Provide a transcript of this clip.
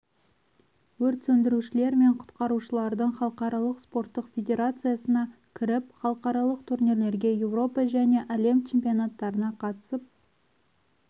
өрт сөндірушілер мен құтқарушылардың халықаралық спорттық федерациясына кіріп халықаралық турнирлерге еуропа және әлем чемпионаттарына қатысып